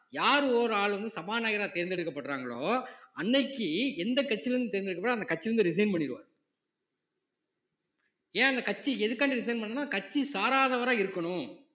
யார் ஒரு ஆளு வந்து சபாநாயகரா தேர்ந்தெடுக்கப்படறாங்களோ அன்னைக்கு எந்த கட்சியிலயிருந்து தேர்ந்தெடுக்கப்படுதோ அந்த கட்சியில இருந்து resign பண்ணிடுவாரு ஏன் அந்த கட்சி எதுக்காண்டி resign பண்ணணுன்னா கட்சி சாராதவரா இருக்கணும்